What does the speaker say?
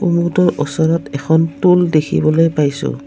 কুমুদৰ ওচৰত এখন টুল দেখিবলৈ পাইছোঁ।